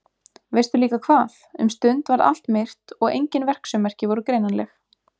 Veistu líka hvað, um stund varð allt myrkt og engin verksummerki voru greinanleg.